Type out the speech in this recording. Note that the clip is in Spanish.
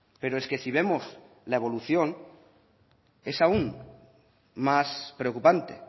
pero es que si vemos la evolución es aún más preocupante